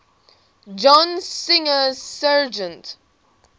john singer sargent